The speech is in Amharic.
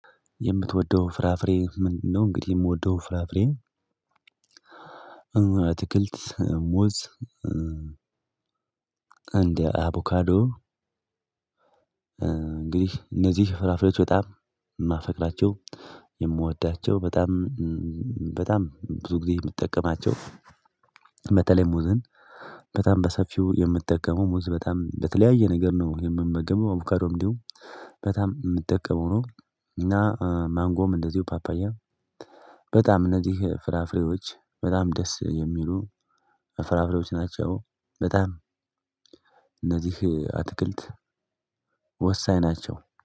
የምትወደው ፍራፍሬ ምንድነው? እንግዲህ የምወደው ፍራፍሬ አትክልት ሙዝ። እንደ አቮካዶ። እንግዲህ እነዚህ ፍራፍሬዎች በጣም የማፈቅራቸው የምወዳቸው በጣም በጣም ብዙ ጊዜ የምጠቀማቸው። በተለይ ሙዝን በጣም በሰፊው የምጠቀመው ሙዝ በጣም በተለያየ ነገር ነው የምመገበው አቡካዶ እንዲሁ በጣም የምጠቀመው ነው። እና ማንጎም እንደዚሁ ፓፓያ። በጣም እነዚህ ፍራፍሬዎች በጣም ደስ የሚሉ ፍራፍሬዎች ናቸው። በጣም እነዚህ አትክልት ወሳኝ ናቸው